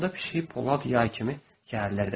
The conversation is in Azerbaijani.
Onda pişik polad yay kimi gərilirdi.